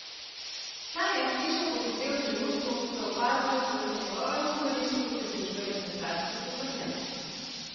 Ta je iz hiše pohitel v trenutku, ko je opazil, da se njegovemu dvorišču približuje smetarski tovornjak.